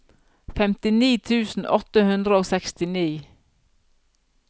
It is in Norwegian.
femtini tusen åtte hundre og sekstini